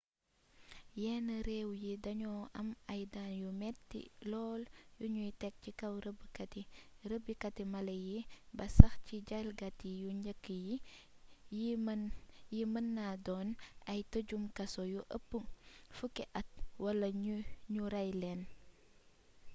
yenn réew yi dañoo am ay daan yu metti lool yuñuy tekk ci kaw rêbbkati mala yi ba sax ci jalgati yu njëkk yi yi mën naa doon ay tëjum kaso yu ëpp 10 at wala ñu rey leen